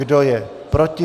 Kdo je proti?